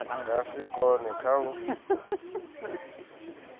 nga si kone kha u